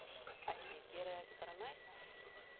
Ætli ég geri það ekki bara næst